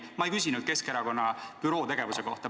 Ma ei küsinud Keskerakonna büroo tegevuse kohta.